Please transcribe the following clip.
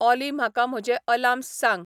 ऑली म्हाका म्हजे आलार्म्स सांग